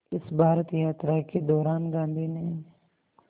इस भारत यात्रा के दौरान गांधी ने